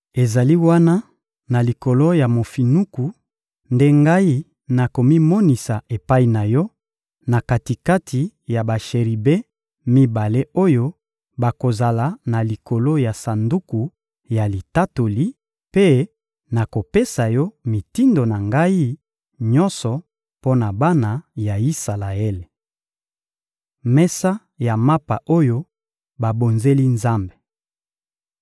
Ezali wana, na likolo ya mofinuku nde Ngai nakomimonisa epai na yo, na kati-kati ya basheribe mibale oyo bakozala na likolo ya Sanduku ya Litatoli; mpe nakopesa yo mitindo na Ngai nyonso mpo na bana ya Isalaele. Mesa ya mapa oyo babonzeli Nzambe